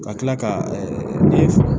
Ka tila ka ne